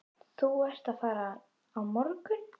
Þú ert að fara á morgun.